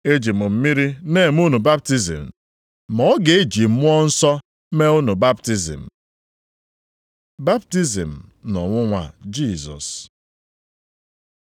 Eji m mmiri na-eme unu baptizim, ma ọ ga-eji Mmụọ Nsọ mee unu baptizim.” Baptizim na ọnwụnwa Jisọs